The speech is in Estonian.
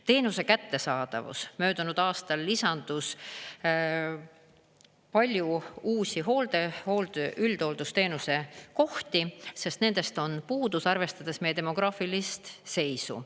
Teenuse kättesaadavus: möödunud aastal lisandus palju uusi üldhooldusteenuse kohti, sest nendest on puudus, arvestades meie demograafilist seisu.